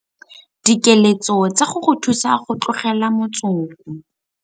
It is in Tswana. Dikeletso tsa go go thusa go tlogela motsoko.